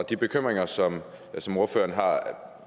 og de bekymringer som ordføreren har